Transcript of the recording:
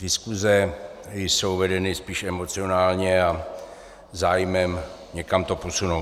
Diskuse jsou vedeny spíš emocionálně a zájmem někam to posunout.